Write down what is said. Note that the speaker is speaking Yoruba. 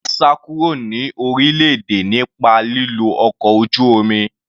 Dorcas sá kúrò ní orílẹ̀-èdè nípa lílo ọkọ̀ ojú omi.